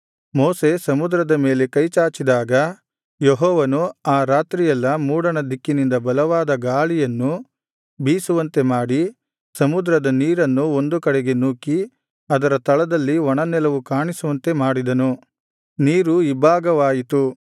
ಮೋಶೆ ಸಮುದ್ರದ ಮೇಲೆ ಕೈಚಾಚಿದಾಗ ಯೆಹೋವನು ಆ ರಾತ್ರಿಯೆಲ್ಲಾ ಮೂಡಣ ದಿಕ್ಕಿನಿಂದ ಬಲವಾದ ಬಿರುಗಾಳಿಯನ್ನು ಬೀಸುವಂತೆ ಮಾಡಿ ಸಮುದ್ರದ ನೀರನ್ನು ಒಂದು ಕಡೆಗೆ ನೂಕಿ ಅದರ ತಳದಲ್ಲಿ ಒಣನೆಲವು ಕಾಣಿಸುವಂತೆ ಮಾಡಿದನು ನೀರು ಇಬ್ಭಾಗವಾಯಿತು